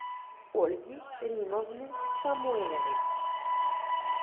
ольги римовны самойловой